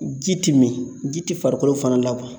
Ji ti min ji ti farikolo fana la wa